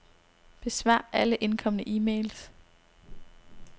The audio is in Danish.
Besvar alle indkomne e-mails.